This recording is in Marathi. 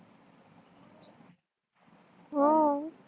हो